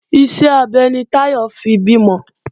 Iṣẹ́ abẹ ni Táyọ̀ fi bímọ